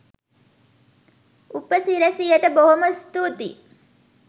උපසිරැසියට බොහොම ස්තුතියි